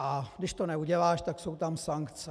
A když to neuděláš, tak jsou tam sankce.